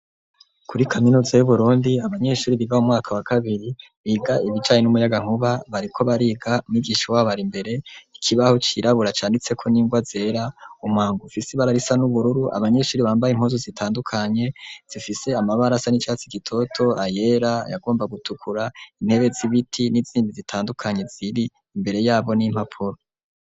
Kuri kaminuza y'uburundi abanyeshuri biga mu mwaka wa kabiri biga ibicaye n'umuyagankuba bariko bariga mwigisha wabara imbere ikibaho cirabura canditseko ningwa zera umwangufi isi ibararisa n'ubururu abanyeshuri bambaye inkozu zitandukanye zifise amabarasa n'icatsi gitoto ayera yagomba gutukura intebe z'ibiti itimbi zitandukanyi ziri imbere yabo n'impapuro.